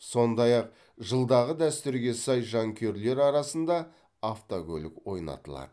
сондай ақ жылдағы дәстүрге сай жанкүйерлер арасында автокөлік ойнатылады